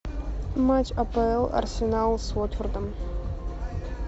матч апл арсенал с уотфордом